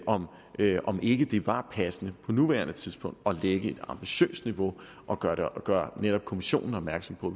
om ikke om ikke det var passende på nuværende tidspunkt at lægge et ambitiøst niveau og gøre gøre netop kommissionen opmærksom på